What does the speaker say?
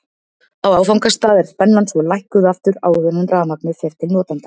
Á áfangastað er spennan svo lækkuð aftur áður en rafmagnið fer til notenda.